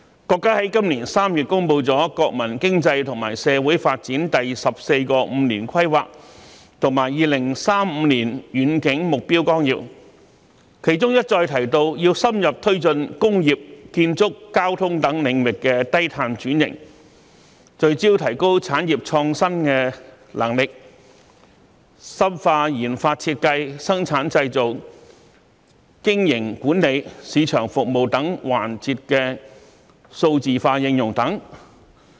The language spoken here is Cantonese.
國家在今年3月公布了《中華人民共和國國民經濟和社會發展第十四個五年規劃和2035年遠景目標綱要》，當中一再提到要深入推進工業、建築、交通等領域低碳轉型，聚焦提高產業創新能力，深化研發設計、生產製造、經營管理、市場服務等環節的數字化應用等。